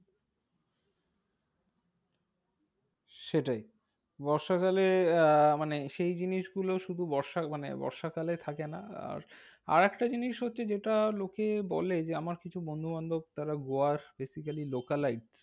সেটাই বর্ষাকালে আহ মানে সেই জিনিসগুলো শুধু বর্ষা মানে বর্ষাকালে থাকে না। আর আরেকটা জিনিস হচ্ছে যেটা লোকে বলে যে আমার কিছু বন্ধুবান্ধব তারা গোয়ার basically localize